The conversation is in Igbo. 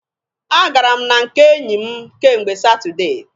A gara m na nke enyi m kemgbe Satudee.